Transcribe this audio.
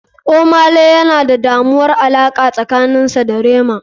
Ohmay lay yana da damuwar alaqa tsakanin sa da rema.